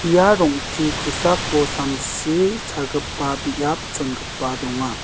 ia rong·te kosako samsi chagipa biap chongipa donga.